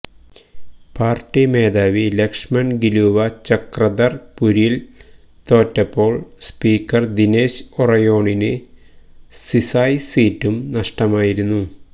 party മേധാവി ലക്ഷ്മണ് ഗിലുവ ചക്രധര്പൂരില് തോറ്റപ്പോള് സ്പീക്കര് ദിനേശ് ഒറയോണിന് സിസായ് സീറ്റും നഷ്ടമായിരുന്നു